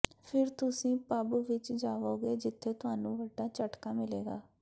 ਫਿਰ ਤੁਸੀਂ ਪੱਬ ਵਿਚ ਜਾਵੋਗੇ ਜਿੱਥੇ ਤੁਹਾਨੂੰ ਵੱਡਾ ਝਟਕਾ ਮਿਲੇਗਾ